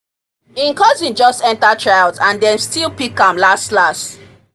e cousin just enter tryout and dem still pick am las las